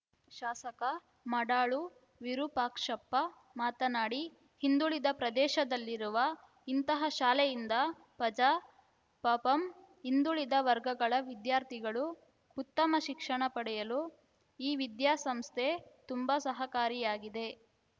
ಶಾಸಕ ಮಾಡಾಳು ವಿರೂಪಾಕ್ಷಪ್ಪ ಮಾತನಾಡಿ ಹಿಂದುಳಿದ ಪ್ರದೇಶದಲ್ಲಿರುವ ಇಂತಹ ಶಾಲೆಯಿಂದ ಪಜಾ ಪಪಂ ಹಿಂದುಳಿದ ವರ್ಗಗಳ ವಿದ್ಯಾರ್ಥಿಗಳು ಉತ್ತಮ ಶಿಕ್ಷಣ ಪಡೆಯಲು ಈ ವಿದ್ಯಾ ಸಂಸ್ಥೆ ತುಂಬಾ ಸಹಕಾರಿಯಾಗಿದೆ